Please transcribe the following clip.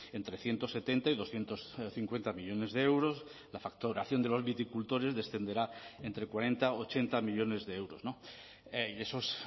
en trescientos setenta y doscientos cincuenta millónes de euros la facturación de los viticultores descenderá entre cuarenta ochenta millónes de euros y eso es